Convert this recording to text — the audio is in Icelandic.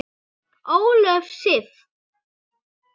Ólöf Sif.